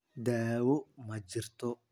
Daawo ma jirto?